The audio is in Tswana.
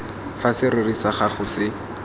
fa serori sa gago se